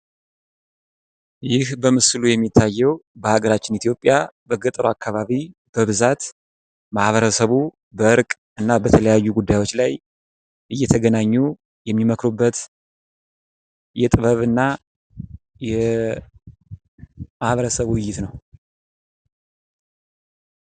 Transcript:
ይህ በምስሉ የሚታየው በሀገራችን ኢትዮጵያ በገጠሩ አከባቢ በብዛት ማህበረሰቡ በእርቅ እና በተለያዩ ጉዳዮች ላይ እየተገናኙ የሚመክሩበት የጥበብና የማህበረሰቡ ውይይት ነው።